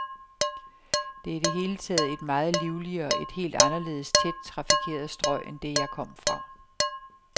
Det er i det hele taget et meget livligere, et helt anderledes tæt trafikeret strøg end det, jeg kom fra.